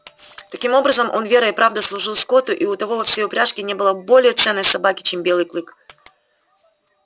таким образом он верой и правдой служил скотту и у того во всей упряжке не было более ценной собаки чем белый клык